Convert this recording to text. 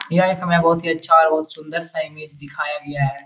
यह एक हमें बहुत ही अच्छा और बहुत सुंदर सा इमेज दिखाया गया है।